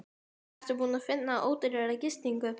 Ertu búinn að finna ódýrari gistingu?